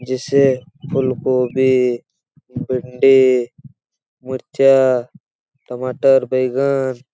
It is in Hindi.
जैसे फूलगोभी भिंडी मुर्चा टमाटर बैंगन --